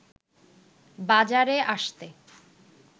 বাজারে আসতে